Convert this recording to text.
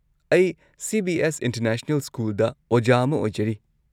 ꯑꯩ CBS. International ꯁ꯭ꯀꯨꯜꯗ ꯑꯣꯖꯥ ꯑꯃ ꯑꯣꯏꯖꯔꯤ꯫